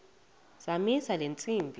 zamisa le ntsimbi